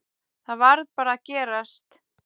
Það varð bara að gerast.